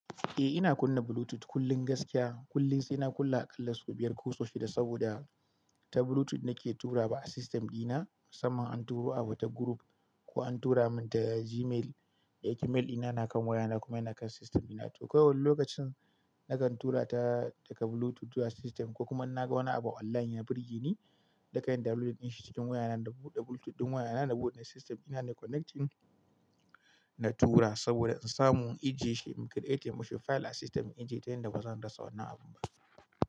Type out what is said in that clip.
Eh ina kunna Bluetooth kullum gaskiya. Kullun sai na kunna aƙalla sau biyar ko sau shida saboda ta Bluetooth nake tura ba a system dina Musanman an turo a wata group ko an tura min ta Gmail. Eh Gmail dina na kan wayana kuma yana kan system dina to kawai lokacin nakan tura ta daga Bluetooth zuwa system ko kuma na ga wani abu online ya burge ni, da kai na downloadin shi cikin wayana da Bluetooth ɗin wayana da boot na system ina ne connecting na tura saboda in samu in jiye shi in create mun shi file a system in jiya tayan da ba zan rasa wannan abun ba.